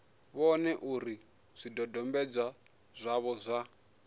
vhone uri zwidodombedzwa zwavho zwa